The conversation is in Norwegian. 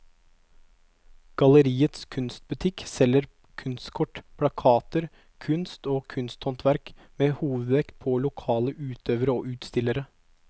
Galleriets kunstbutikk selger kunstkort, plakater, kunst og kunsthåndverk med hovedvekt på lokale utøvere og utstillere.